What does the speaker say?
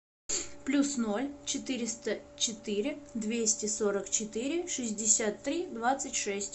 плюс ноль четыреста четыре двести сорок четыре шестьдесят три двадцать шесть